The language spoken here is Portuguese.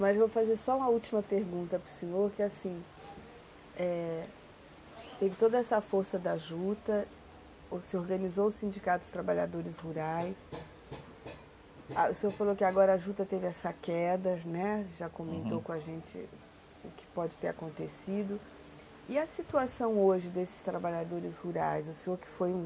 mas vou fazer só uma última pergunta para o senhor, que é assim, e, teve toda essa força da juta, se organizou o Sindicato dos Trabalhadores Rurais, o senhor falou que agora a juta teve essa queda, né, uhum, já comentou com a gente o que pode ter acontecido, e a situação hoje desses trabalhadores rurais, o senhor que foi um